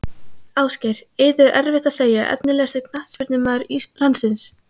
Ásgeir, Eiður erfitt að segja Efnilegasti knattspyrnumaður landsins?